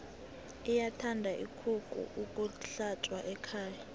iyathanda ikukhu yokuhlatjwa ekhaya